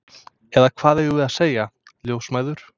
Eða hvað eigum við að segja, ljósmæður?